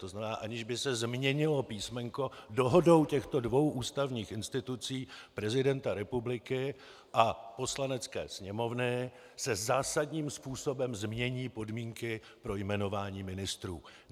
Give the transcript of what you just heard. To znamená, aniž by se změnilo písmenko, dohodou těchto dvou ústavních institucí, prezidenta republiky a Poslanecké sněmovny, se zásadním způsobem změní podmínky pro jmenování ministrů.